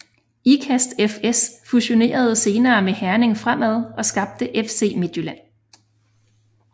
Ikast FS fusionerede senere med Herning Fremad og skabte FC Midtjylland